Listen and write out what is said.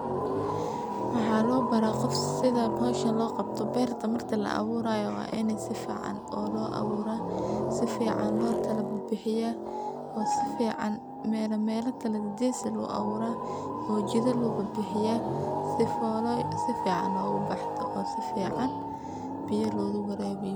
Maxaa loobara qof sidha hawshan loo qabto beerta marka laaburayo waa in sifican looaburaa sifican lookalabixiyaa oo sifican mela kalagagees eh loguabuura oo jidha loobibixiyaa sifolo sifican ogubaxdo oo sifican biya looguwaraabiyo.